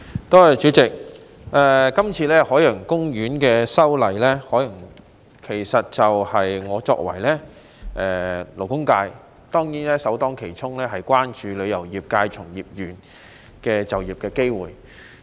代理主席，對於這次有關海洋公園的修例，我作為勞工界代表，首先當然會關注旅遊業界從業員的就業機會。